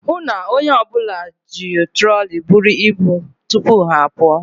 Hụụ na onye ọbụla ji troli buru ibu tupu ha apụọ.